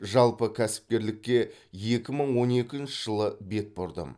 жалпы кәсіпкерлікке екі мың он екінші жылы бет бұрдым